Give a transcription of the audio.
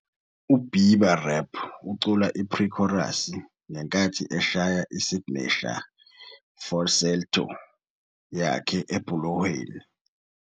U-Bieber rap ucula i-pre-chorus, ngenkathi eshaya "isignesha falsetto " yakhe ebhulohweni.